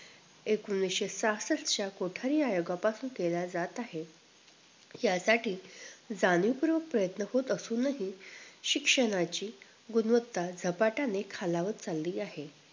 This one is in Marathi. एकोणीशे सहासष्ट च्या कोठारी आयोगापासून केला जात आहे यासाठी जाणीव पूर्वक प्रयन्त होत असूनही शिक्षणाची गुणवत्ता झपाटाने खालावत चाली आहे